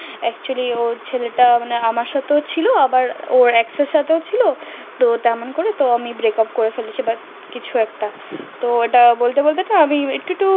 acutely ও ছেলে টা আমার সাথে ও ছিল আবার ওর ex এর সাথে ও ছিল তো তেমন করে তাই আমি break up করে ফেলেছি but কিছু একটা তো ওটা বলতে বলতে আমি একটু একটু